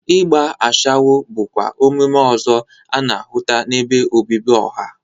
Igba ashawo bụkwa omume ọzọ a na-ahụta n'ebe obibi ọha.